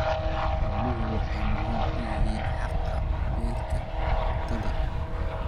Xooluhu waxay muhiim u yihiin haqab-beelka cuntada.